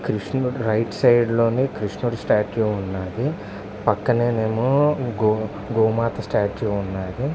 Right side లోని కృష్ణుడి statue ఉన్నాది. పక్కన గో గోమాత ఉన్నాది.